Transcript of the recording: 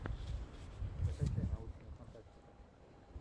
закачай научную фантастику